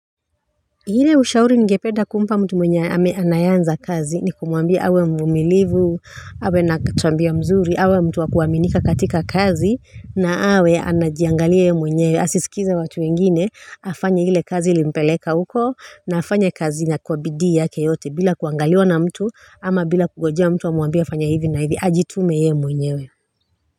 Ile ushauri ningepeda kumpa mtu mwenye ame anayeanza kazi ni kumwambia awe mvumilivu awe na tabia mzuri, awe mtu wa kuaminika katika kazi, na awe anajiangalia yeye mwenyewe. Asisikize watu wengine, afanya ile kazi ilimpeleka huko na afanye kazi na kwa bidii yake yote bila kuangaliwa na mtu ama bila kungojea mtu amuambie afanye hivi na hivi, ajitume yeye mwenyewe.